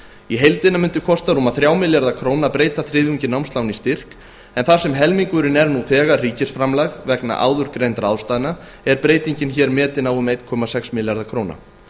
í heildina mundi kosta rúma þrjá milljarða króna að breyta þriðjungi námslána í styrk en þar sem helmingurinn er nú þegar ríkisframlag vegna áður greindra ástæðna er breytingin hér metin á einum komma sex milljarða króna